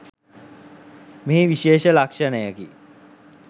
මෙහි විශේෂ ලක්ෂණයකි.